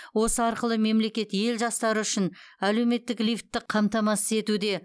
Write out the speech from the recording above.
осы арқылы мемлекет ел жастары үшін әлеуметтік лифтті қамтамасыз етуде